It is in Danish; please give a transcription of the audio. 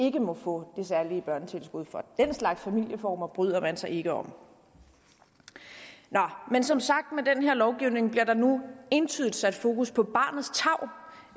ikke må få det særlige børnetilskud for den slags familieformer bryder man sig ikke om nå men som sagt med den her lovgivning entydigt sat fokus på barnets tarv